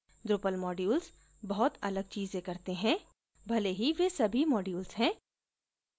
drupal modules बहुत अलग चीजें करते हैं भले ही वे सभी modules हैं